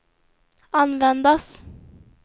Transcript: användas